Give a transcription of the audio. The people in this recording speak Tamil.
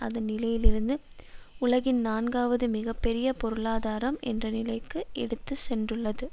அதன் நிலையிலிருந்து உலகின் நான்காவது மிகபெரிய பொருளாதாரம் என்ற நிலைக்கு எடுத்து சென்றுள்ளது